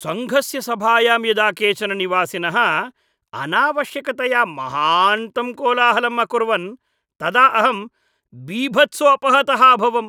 सङ्घस्य सभायां यदा केचन निवासिनः अनावश्यकतया महान्तं कोलाहलं अकुर्वन् तदा अहं बीभत्सोपहतः अभवम्।